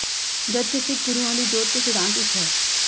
ਜਦ ਕਿ ਸਿੱਖ ਗੁਰੂਆਂ ਦੀ ਜੋਤ ਤੇ ਸਿਧਾਂਤ ਇੱਕ ਹੈ